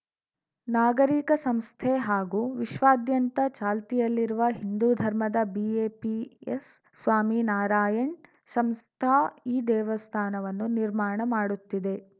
ನಾಗರಿಕ ಸಂಸ್ಥೆ ಹಾಗೂ ವಿಶ್ವಾದ್ಯಂತ ಚಾಲ್ತಿಯಲ್ಲಿರುವ ಹಿಂದೂ ಧರ್ಮದ ಬಿಎಪಿಎಸ್‌ ಸ್ವಾಮಿನಾರಾಯಣ್‌ ಸಂಸ್ಥಾ ಈ ದೇವಸ್ಥಾನವನ್ನು ನಿರ್ಮಾಣ ಮಾಡುತ್ತಿದೆ